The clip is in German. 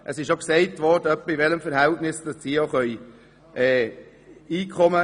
Wie viel Einkommen sie generieren können, wurde auch dargestellt.